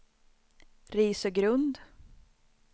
Risögrund